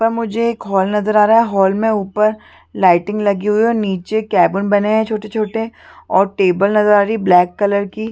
पर मुझे एक हॉल नजर आ रहा है हॉल में ऊपर लाइटिंग लगी हुई है और निचे केबिन बने है छोटे छोटे और टेबल नजर आ रही है ब्लैक कलर की --